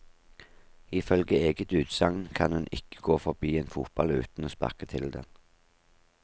Ifølge eget utsagn kan hun ikke gå forbi en fotball uten å sparke til den.